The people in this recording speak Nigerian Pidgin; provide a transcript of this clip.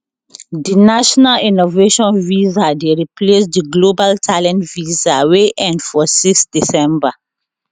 di national innovation visa dey replace di global talent visa wey end for 6 december